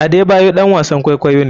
Adebayor ɗan wasn kwaikwayo ne.